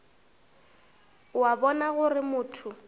o a bona gore motho